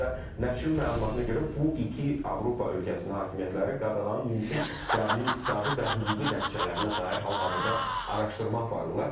və nəşrin məlumatına görə bu iki Avropa ölkəsinin hakimiyyətləri qadağanın mümkün qəbul iqtisadi və hüquqi nəticələrinə dair hal-hazırda araşdırma aparırlar.